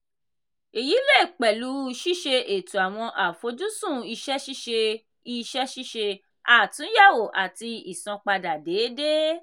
èyí lè pẹ̀lú ṣíṣe ètò awọn àfojúsùn iṣẹ́ ṣíṣe iṣẹ́ ṣíṣe àtúnyẹ̀wò àti ìsanpadà déédéé.